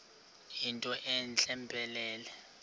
yinto entle mpelele